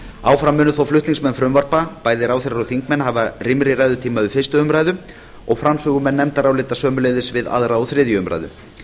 áfram munu þó flutningsmenn frumvarpa bæði ráðherrar og þingmenn hafa rýmri ræðutíma við fyrstu umræðu og framsögumenn nefndarálita sömuleiðis við aðra og þriðju umræðu